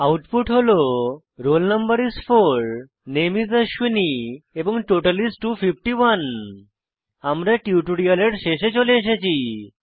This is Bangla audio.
আউটপুট হল রোল নো is 4 নামে is অশ্বিনী এবং টোটাল is 251 আমরা টিউটোরিয়ালের শেষে চলে এসেছি